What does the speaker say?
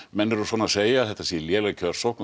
menn eru að segja að þetta sé léleg kjörsókn